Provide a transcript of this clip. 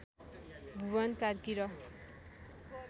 भुवन कार्की र